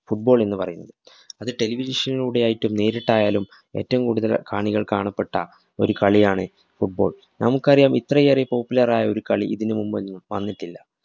football എന്ന് പറയുന്നത്. അത് television നിലൂടെ ആയിട്ടും നേരിട്ടായാലും ഏറ്റവും കൂടുതല്‍ കാണികള്‍ കാണപെട്ട ഒരു കളിയാണ്‌ football. നമുക്കറിയാം ഇത്രയേറെ popular ആയ ഒരു കളി ഇതിന് മുന്‍പൊന്നും വന്നിട്ടില്ല.